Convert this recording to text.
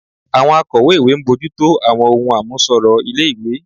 Àwọn akọ̀wé-ìwé ń bójú tó àwọn ohun àmúṣọrọ̀ ilé-ìwé